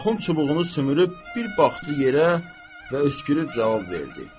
Axund çubuğu sümürüb, bir baxdı yerə və öskürüb cavab verdi: